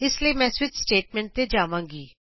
ਇਸ ਲਈ ਮੈਂ ਸਵਿਚ ਸਟੇਟਮੈਂਟਸ ਤੇ ਜਾਵਾਂਗੀ